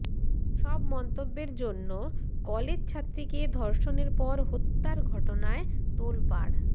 সব মন্তব্যের জন্য কলেজ ছাত্রীকে ধর্ষণের পর হত্যার ঘটনায় তোলপাড়